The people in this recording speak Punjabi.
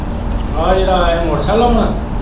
ਆ ਜਿਹੜਾ motorcycle ਆਲਾ।